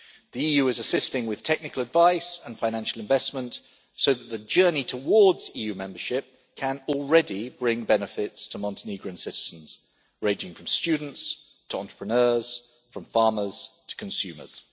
The EU is assisting with technical advice and financial investment, so that the journey towards EU membership can already bring benefits to Montenegrin citizens, ranging from students to entrepreneurs, from farmers to consumers.